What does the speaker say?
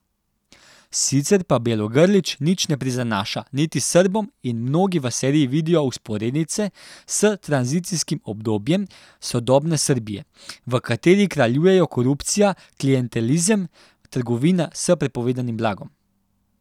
Sicer pa Bjelogrlić nič ne prizanaša niti Srbom in mnogi v seriji vidijo vzporednice s tranzicijskim obdobjem sodobne Srbije, v kateri kraljujejo korupcija, klientelizem, trgovina s prepovedanim blagom ...